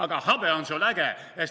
Aga habe on sul äge.